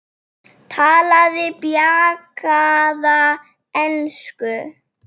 Talaði bjagaða ensku: